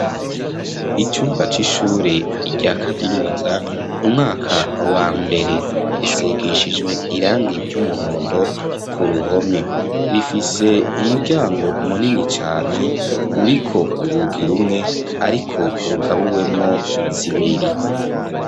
Icumba c'ishure rya kaminuza umwaka wa mbere, risigishijwe irangi ry'umuhondo ku ruhome, rifise umuryango munini cane uriko urugi rumwe, ariko rugabuwemwo zibiri.